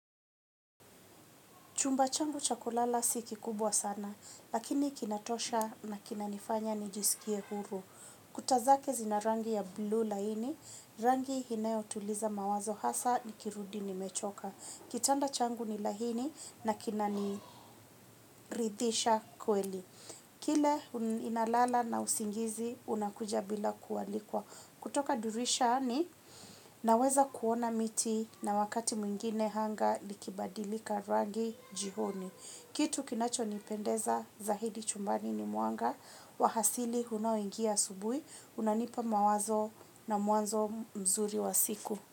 Chumba changu chakulala si kikubwa sana, lakini kinatosha na kina nifanya nijisikie huru. Kutazake zinarangi ya blue laini, rangi inayo tuliza mawazo hasa nikirudi nimechoka. Kitanda changu ni lahini na kina niridhisha kweli. Kile inalala na usingizi unakuja bila kuwalikwa. Kutoka dirishani naweza kuona miti na wakati mwingine hanga ikibadilika rangi jihoni. Kitu kinacho nipendeza zaidi chumbani ni muanga wa hasili unaoingia asubui, unanipa mawazo na mwanzo mzuri wa siku.